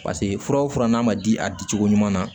Paseke fura o fura n'a ma di a di cogo ɲuman na